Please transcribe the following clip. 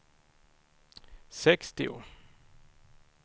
sextio